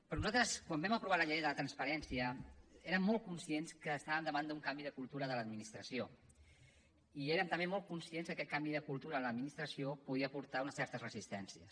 però nosaltres quan vam aprovar la llei de transparència érem molt conscients que estàvem davant d’un canvi de cultura de l’administració i érem també molt conscients que aquest canvi de cultura en l’administració podia portar unes certes resistències